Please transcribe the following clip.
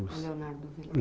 Leonardo Vilar.